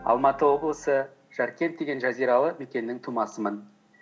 алматы облысы жаркент деген жазиралы мекеннің тумасымын